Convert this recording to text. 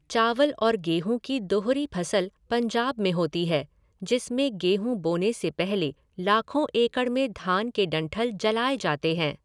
चावल और गेहूं की दोहरी फसल पंजाब में होती है जिसमें गेहूं बोने से पहले लाखों एकड़ में धान के डंठल जलाए जाते हैं।